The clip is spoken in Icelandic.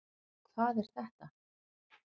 Og hvað er þetta?